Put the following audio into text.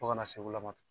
Fo ka na se wula ma